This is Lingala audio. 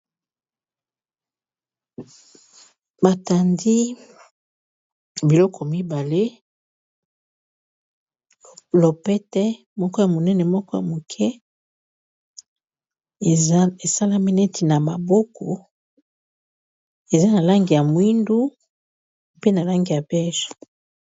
Ba tandi biloko mibale, lopete moko ya monene, moko ya muke, e salami neti na maboko, eza na langi ya moyindo pe na langi ya beige.